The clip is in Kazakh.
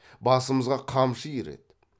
басымызға қамшы иіреді